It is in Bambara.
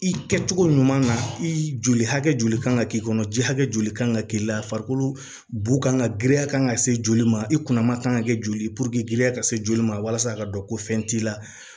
I kɛcogo ɲuman na i joli hakɛ joli kan ka k'i kɔnɔ ji hakɛ joli kan ka k'i la farikolo kan ka girinya kan ka se joli ma i kunna ma kan ka kɛ joli giriya ka se joli ma walasa a ka dɔn ko fɛn t'i la